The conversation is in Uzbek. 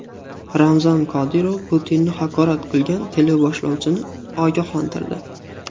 Ramzan Qodirov Putinni haqorat qilgan teleboshlovchini ogohlantirdi.